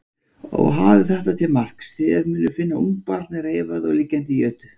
Og hafið þetta til marks: Þér munuð finna ungbarn reifað og liggjandi í jötu.